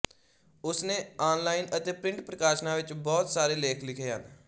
ਉਸਨੇ ਅਨਲਾਈਨ ਅਤੇ ਪ੍ਰਿੰਟ ਪ੍ਰਕਾਸ਼ਨਾਂ ਵਿੱਚ ਬਹੁਤ ਸਾਰੇ ਲੇਖ ਲਿਖੇ ਹਨ